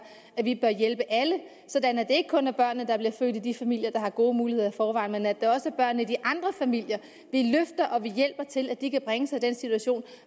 at vi bør hjælpe alle sådan at det ikke kun er børn der bliver født i de familier der har gode muligheder i forvejen men at det også er børn i de andre familier vi løfter og hjælper til at de kan bringe sig i den situation